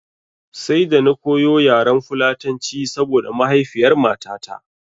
Sai da na koyo yaren fulatanci saboda mahaifiyar matata